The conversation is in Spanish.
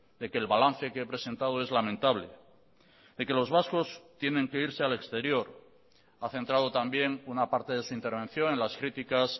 de que el balance que he presentado es lamentable de que los vascos tienen que irse al exterior ha centrado también una parte de su intervención en las críticas